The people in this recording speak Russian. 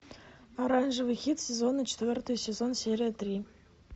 оранжевый хит сезона четвертый сезон серия три